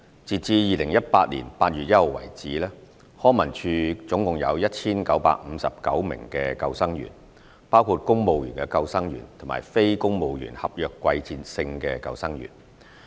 截至2018年8月1日為止，康文署總共有 1,959 名救生員，包括公務員救生員和非公務員合約季節性救生員。